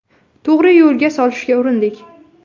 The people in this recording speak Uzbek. To‘g‘ri yo‘lga solishga urindik.